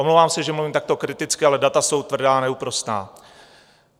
Omlouvám se, že mluvím takto kriticky, ale data jsou tvrdá a neúprosná.